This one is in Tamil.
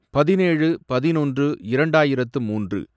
பதினேழு, பதினொன்று, இரண்டாயிரத்து மூன்று